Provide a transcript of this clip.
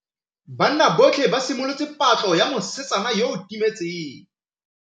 Banna botlhê ba simolotse patlô ya mosetsana yo o timetseng.